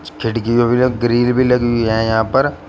इस खिड़कियों ग्रिल भी लगी हुई है यहां पर।